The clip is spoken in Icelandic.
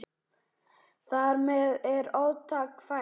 Þar með er orðtak fætt.